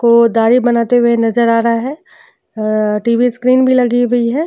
को दाढ़ी बनाते हुए नजर आ रहा है। टीवी स्क्रीन भी लगी हुई है।